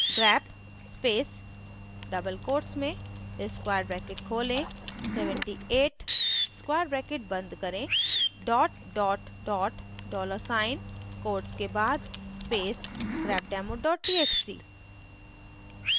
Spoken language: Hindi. grep space double quotes में square bracket खोलें 78 square bracket बंद करें dollar साइन quotes के बाद space grepdemo txt